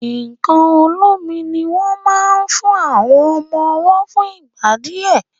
nkán olómi ní wón mo fún àwọn ọmọ ọwo fún ìgbà díẹ.